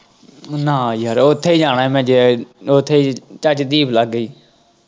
ਨਾ ਯਾਰ ਉੱਥੇ ਜਾਣਾ ਮੈਂ ਉੱਥੇ ਤੁਹਾਡੀ ਲਾਗੇ ਹੀ।